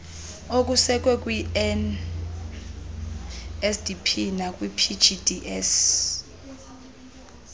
okusekwe kwinsdp nakwipgds